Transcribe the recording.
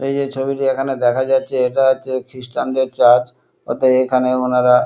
এই যে ছবিটি এখানে দেখা যাচ্ছে এটা হচ্ছে খ্রীষ্টান -দের চার্চ অতয়ে এখানে ওনারা--